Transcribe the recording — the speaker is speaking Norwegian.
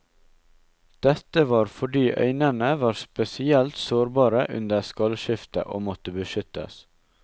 Dette var fordi øynene var spesielt sårbare under skallskiftet, og måtte beskyttes.